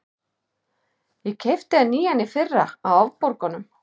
Ég keypti hann nýjan í fyrra, á afborgunum.